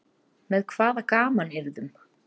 Með hvaða gamanyrðum?